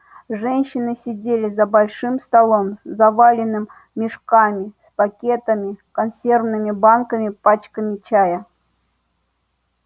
женщины сидели за большим столом заваленным мешками с пакетами консервными банками пачками чая